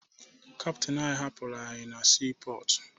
Kaptịn anyị hapụrụ anyị na siipọọtụ